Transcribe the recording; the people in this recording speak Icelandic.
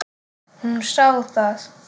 Hún sá það.